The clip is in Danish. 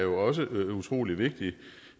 også utrolig vigtige